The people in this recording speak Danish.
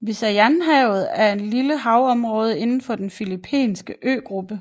Visayanhavet er et lille havområde inden for den filippinske øgruppe